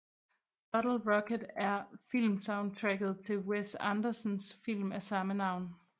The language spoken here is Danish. Bottle Rocket er filmsoundtracket til Wes Andersons film af samme navn